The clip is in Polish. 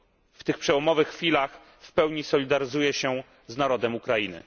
W tych przełomowych chwilach w pełni solidaryzuję się z narodem Ukrainy.